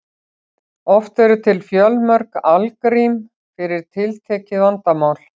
oft eru til fjölmörg algrím fyrir tiltekið vandamál